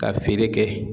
Ka feere kɛ